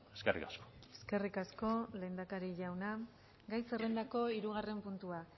eskerrik asko eskerrik asko lehendakari jauna gai zerrendako hirugarren puntua